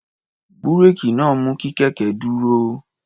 Búréèkì náà mú kí kẹ̀kẹ́ dúró.